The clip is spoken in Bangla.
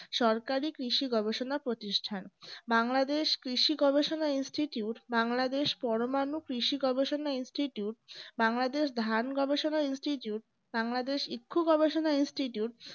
সরকারি কৃষি গবেষণা প্রতিষ্ঠান বাংলাদেশ কৃষি গবেষণা institute বাংলাদেশ পরমাণু কৃষি গবেষণা institute বাংলাদেশ ধান গবেষণা institute বাংলাদেশ ইক্ষ গবেষণা institute